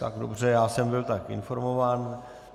Tak dobře, já jsem byl tak informován.